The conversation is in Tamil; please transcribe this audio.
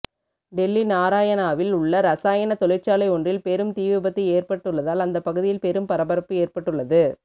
டெல்லி நாராயணாவில் உள்ள ரசாயன தொழிற்சாலை ஒன்றில் பெரும் தீ விபத்து ஏற்பட்டுள்ளதால் அந்த பகுதியில் பெரும் பரபரப்பு ஏற்பட்டுள்ளது